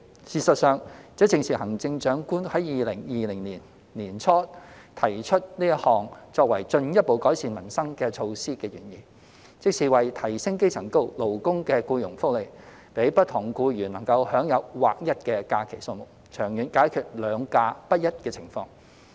事實上，這正是行政長官於2020年年初提出此項作為進一步改善民生的措施的原意，即是為提升基層勞工的僱傭福利，讓不同僱員能享有劃一的假期數目，長遠解決"兩假"不一的情況。